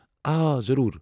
آ آ، ضروٗر۔